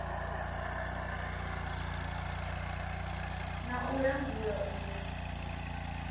na u langula u ya